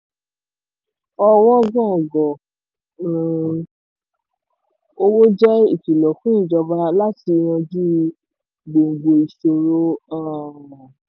ọwọ́ngògò um owó jẹ́ ìkìlọ̀ fún ìjọba láti yanjú gbòǹgbò ìṣòro. um